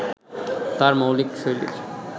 তাঁর মৌলিক শৈলীর